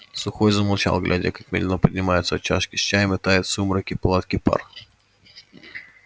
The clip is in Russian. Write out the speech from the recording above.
сухой замолчал глядя как медленно поднимается от чашки с чаем и тает в сумраке палатки пар